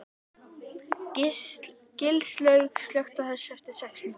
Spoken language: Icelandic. Gilslaug, slökktu á þessu eftir sex mínútur.